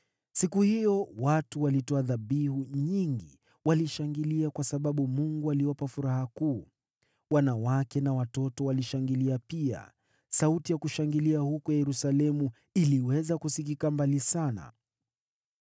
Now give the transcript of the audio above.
Siku hiyo watu walitoa dhabihu nyingi, wakishangilia kwa sababu Mungu aliwapa furaha kuu. Wanawake na watoto walishangilia pia. Sauti ya kushangilia huko Yerusalemu iliweza kusikika mbali sana.